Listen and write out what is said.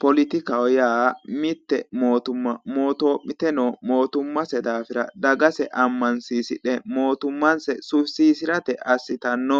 Polotikaho yaa mitte mootimma mootoo'mite noo motummase daafira dagase ammansiisidhe mootummase sufisiisirate assitanno